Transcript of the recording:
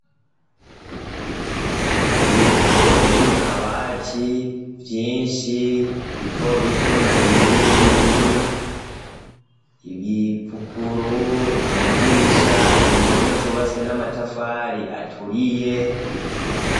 Ibitabo biri mu kabati vyinshi bito bito na binini binini ibipukuru, amadirisha, impome zubatswe n'amatafari aturiye.